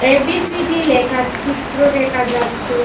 ABCD লেখার চিত্র দেকা যাচ্ছে।